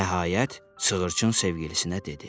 Nəhayət, sığırçın sevgilisinə dedi: